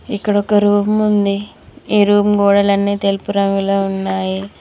ఇక్కడ ఒక రూమ్ ఉంది ఈ రూమ్ గోడలన్నీ తెలుపు రంగులో ఉన్నాయి.